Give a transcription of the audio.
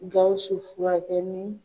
Gawusu fura kɛ ni